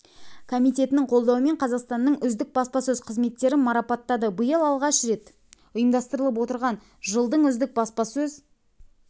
комитетінің қолдауымен қазақстанның үздік баспасөз қызметтерін марапаттады биыл алғаш рет ұйымдастырылып отырған жылдың үздік баспасөз